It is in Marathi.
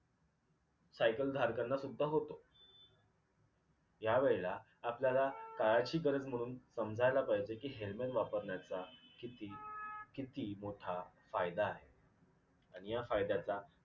सायकलधारकांना सुद्धा होतो ह्या वेळेला आपल्याला काळाची गरज म्हनुन समजायला पाहिजे कि helmet वापरण्याचा किती किती मोठा फायदा आहे आणि या फायद्याचा